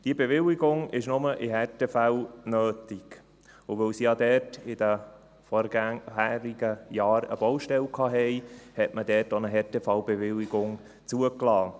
Diese Bewilligung ist nur in Härtefällen nötig, und weil es ja dort in den vorherigen Jahren eine Baustelle gab, hat man dort auch eine Härtefallbewilligung zugelassen.